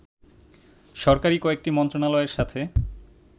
সরকারি কয়েকটি মন্ত্রণালয়ের সাথে